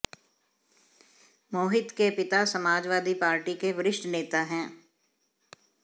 मोहित के पिता समाजवादी पार्टी के वरिष्ठ नेता हैं